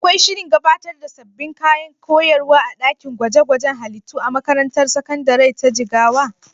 Akwai shirin gabatar da sabbin kayan koyarwa a ɗakin gwaje-gwajen halittu a makarantar sakandare ta Jigawa?